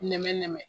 Nɛmɛnɛmɛ nɛmɛ